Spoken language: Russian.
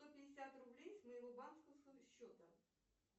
сто пятьдесят рублей с моего банковского счета